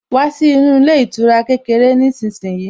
Wá sí inú ilé ìtura kékeré nísinsìnyí